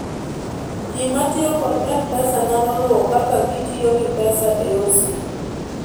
ji matiyo kod mpesa nyalo luwo kaka gitiyo gi pesa o yor simu